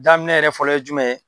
Daminɛ yɛrɛ fɔlɔ ye jumɛn ye